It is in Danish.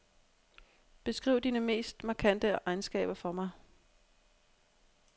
Beskriv dine mest markante egenskaber for mig.